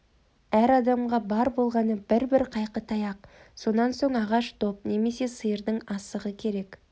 әр адамға бар болғаны бір-бір қайқы таяқ сонан соң ағаш доп немесе сиырдың асығы керек